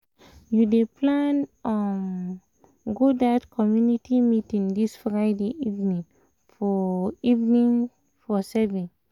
you dey plan um go um that um community meeting this friday evening for evening for seven?